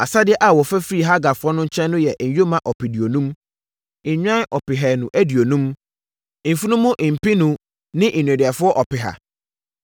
Asadeɛ a wɔfa firii Hagarfoɔ no nkyɛn no yɛ nyoma ɔpeduonum, nnwan ɔpehanu aduonum, mfunumu mpenu ne nneduafoɔ ɔpeha.